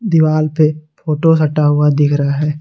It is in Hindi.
दीवाल पे फोटो सटा हुआ दिख रहा है।